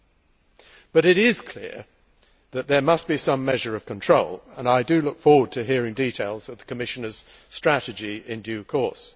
However, it is clear that there must be some measure of control, and I look forward to hearing details of the Commissioner's strategy in due course.